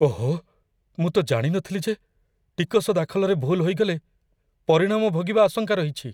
ଓହୋ! ମୁଁ ତ ଜାଣି ନଥିଲି ଯେ ଟିକସ ଦାଖଲରେ ଭୁଲ୍ ହୋଇଗଲେ ପରିଣାମ ଭୋଗିବା ଆଶଙ୍କା ରହିଛି।